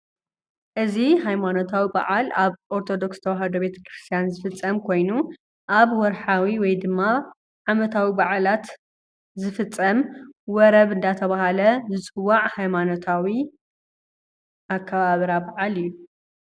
እዙይ ሃይማኖታዊ ባዓል ኣብ ኦርቶዶክስ ተዋህዶ ቤተ ክርስትያን ዝፍፀም ኮይኑ ኣብ ወርሓዊ ወይድማ ዓመታዊ ባዓላት ዝፍፀም ወረብ እናተባህለ ዝፅዋዕ ሃይማኖታዊ ኣከባብራ ባዓል እዩ።